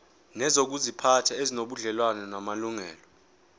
nezokuziphatha ezinobudlelwano namalungelo